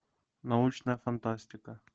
научная фантастика